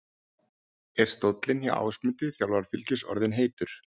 Er stóllinn hjá Ásmundi, þjálfara Fylkis orðinn heitur?